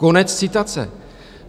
Konec citace.